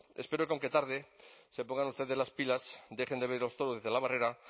espero que aunque tarde se pongan ustedes las pilas dejen de ver los toros desde la barrera